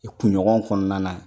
kunɲɔgɔn kɔnɔna yen